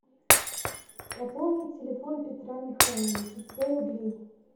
пополнить телефон петра михайловича сто рублей